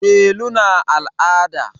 Delu na al'ada.